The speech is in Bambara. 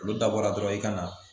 Olu dabɔra dɔrɔn i ka na